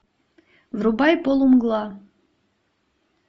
врубай полумгла